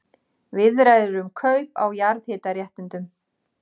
Viðræður um kaup á jarðhitaréttindum